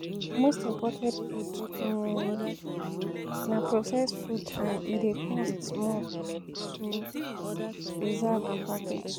Most imported food um um na processed food and e dey cost more to um preserve and package